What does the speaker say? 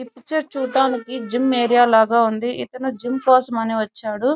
ఈ పిక్చర్ చూడడానికి జిమ్మీ ఏరియా లాగా ఉంది ఇక్కడ ఒక అతను జిమ్ము కోసమే వచ్చాడు.